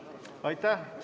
Aitäh!